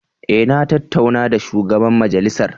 Eh na tattauna da shugaban majalisar.